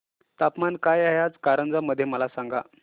तापमान काय आहे आज कारंजा मध्ये मला सांगा